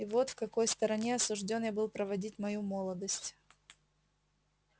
и вот в какой стороне осуждён я был проводить мою молодость